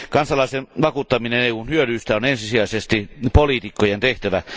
Kansalaisten vakuuttaminen EUn hyödyistä on ensisijaisesti poliitikkojen tehtävä.